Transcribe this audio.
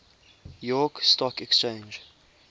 york stock exchange